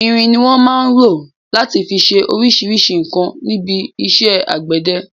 Irin ni wọn máa ń rọ láti fi ṣe oríṣríṣi nǹkan níbi iṣẹ́ àgbẹ̀dẹ.